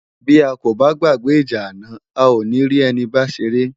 Bi á kó bá gbágbè ijá àná á ó ni ri èni bá séré